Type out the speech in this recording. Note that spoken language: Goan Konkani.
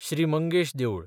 श्री मंगेश देवूळ